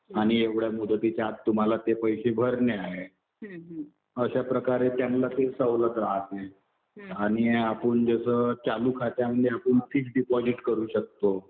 आणि एवढ्या मुदतीच्या आत तुम्हाला ते पैसे भरणे आहे. अशा प्रकारे त्यांना ते सवलत राहते. आणि आपण जसं चालू खात्यामध्ये आपण फिक्स डिपॉजिट करू शकतो.